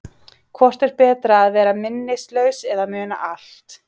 Hvort er betra að vera minnislaus eða muna allt?